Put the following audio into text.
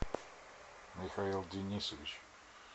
михаил денисович